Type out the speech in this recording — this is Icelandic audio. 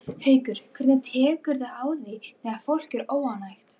Haukur: Hvernig tekurðu á því þegar fólk er óánægt?